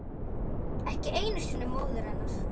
Ekki einu sinni móður hennar.